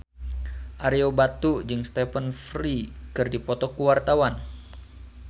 Ario Batu jeung Stephen Fry keur dipoto ku wartawan